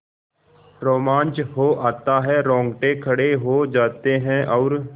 रोमांच हो आता है रोंगटे खड़े हो जाते हैं और